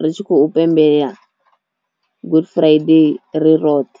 ri tshi khou pembelela good friday ri roṱhe.